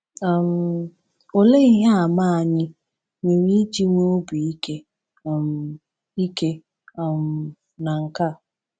um Olee ihe àmà anyị nwere iji nwee obi ike um ike um na nke a?